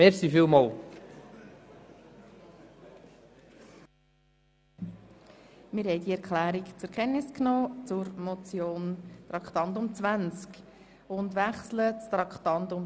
Wir haben die Erklärung zur Motion Traktandum 20 zur Kenntnis genommen und wechseln zu Traktandum 21.